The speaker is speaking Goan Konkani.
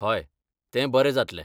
हय, तें बरें जातलें.